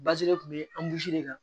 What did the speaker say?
kun be de kan